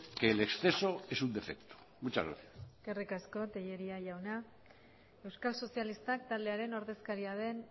que el exceso es un defecto muchas gracias eskerrik asko tellería jauna euskal sozialistak taldearen ordezkaria den